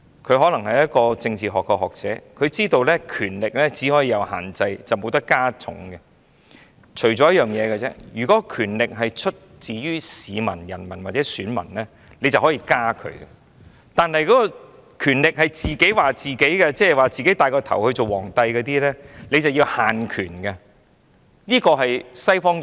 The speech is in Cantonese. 他可能是政治學學者，知道權力只可以施以限制，不能加重，除非權力是出自於人民或選民，便可以增加；但如果權力是自己賦予的，即是自己戴上皇冠稱王，這樣便要限權，這是西方議會......